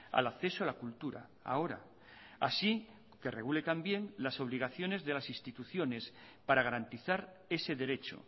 al acceso a la cultura ahora así que regule también las obligaciones de las instituciones para garantizar ese derecho